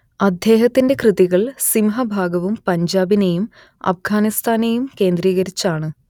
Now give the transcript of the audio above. അദ്ദേഹത്തിന്റെ കൃതികൾ സിംഹഭാഗവും പഞ്ചാബിനെയും അപ്ഗാനിസ്ഥാനെയും കേന്ദ്രീകരിച്ചാണ്